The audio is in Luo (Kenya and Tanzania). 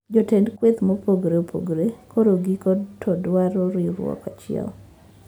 Jotend kweth mopogore opogore koro giko to dwaro riurwok achiel